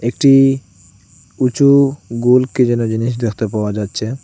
একটি উঁচু গোল কী যেন জিনিস দেখতে পাওয়া যাচ্ছে।